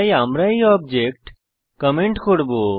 তাই আমরা এই অবজেক্ট কমেন্ট করব